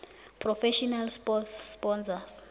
professional sport sponsors